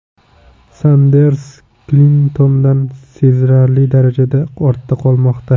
Sanders Klintondan sezilarli darajada ortda qolmoqda.